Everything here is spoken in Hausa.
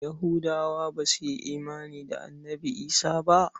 Yahudawa ba su yi imani da Annabi Isah ba.